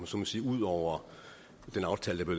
så må sige ud over den aftale der